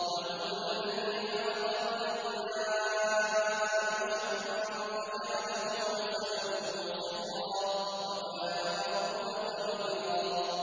وَهُوَ الَّذِي خَلَقَ مِنَ الْمَاءِ بَشَرًا فَجَعَلَهُ نَسَبًا وَصِهْرًا ۗ وَكَانَ رَبُّكَ قَدِيرًا